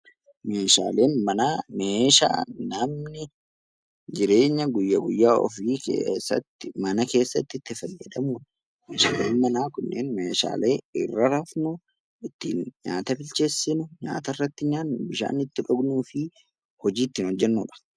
Meeshaaleen manaa meeshaa namni jireenya guyya guyyaa ofii keessatti mana keessatti itti fayyadamudha. Meeshaaleen manaa kunneen meeshaalee irra rafnu, ittiin nyaata bilcheessinu, nyaata irratti nyaannu, bishaan itti dhugnuufi hojii ittiin hojjennudha.